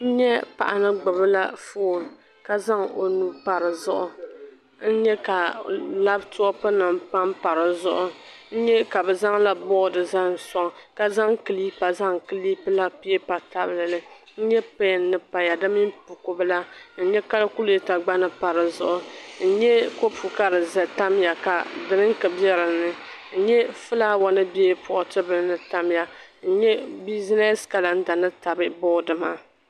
N nyɛ paɣa ni gbubla foon ka zaŋ o nuu pa di zuɣu n nyɛ ka labitop nim panpa di zuɣu n nyɛ ka bi zaŋla boodi zaŋ soŋ ka zaŋ kilipa zaŋ kilipila pipa tabilili n nyɛ pɛn ni paya di mini bukubila n nyɛ kalkulata gba ni n nyɛ business calendar ni tabi boodi maapa di zuɣu n nyɛ kopu ka di tamya ka dirinki bɛ dinni n nyɛ fulaawa ni bɛ pooti bili ni tamya